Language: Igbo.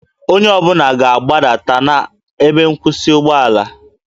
Onye ọ bụla ga-agbadata na ebe nkwụsị ụgbọala